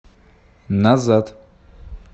назад